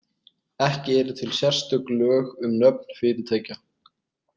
Ekki eru til sérstök lög um nöfn fyrirtækja.